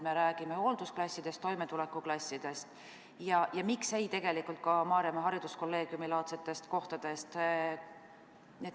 Me räägime hooldusklassidest, toimetulekuklassidest ja tegelikult ka Maarjamaa Hariduskolleegiumi laadsetest asutustest.